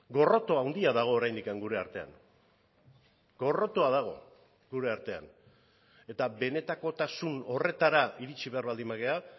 gorroto handia dago oraindik gure artean gorrotoa dago gure artean eta benetakotasun horretara iritsi behar baldin bagara